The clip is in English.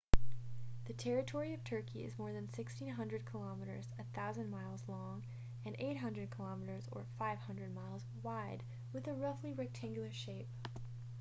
the territory of turkey is more than 1,600 kilometres 1,000 mi long and 800 km 500 mi wide with a roughly rectangular shape